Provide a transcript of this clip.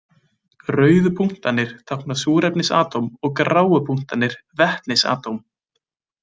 Rauðu punktarnir tákna súrefnisatóm og gráu punktarnir vetnisatóm.